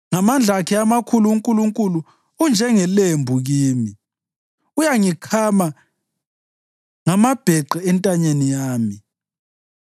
Ngamandla akhe amakhulu uNkulunkulu unjengelembu kimi; uyangikhama ngamabheqe entanyeni yami.